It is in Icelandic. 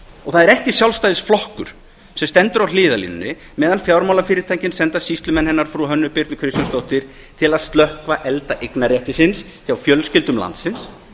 og það er ekki sjálfstæðisflokkur sem stendur á hliðarlínunni meðan fjármálafyrirtækin senda sýslumenn hennar frú hönnu birnu kristjánsdóttur til að slökkva elda eignarréttarins hjá fjölskyldum landsins